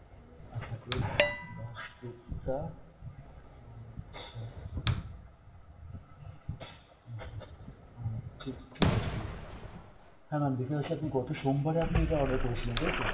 আচ্ছা S দাসগুপ্তা, আচ্ছা , আচ্ছ আচ্ছা, উম ঠি~ ঠিক আছে ma'am। হ্যাঁ ma'am দেখতে পাচ্ছি আপনি গত সোম বারে আপনি এটা order করেছিলেন তাইতো?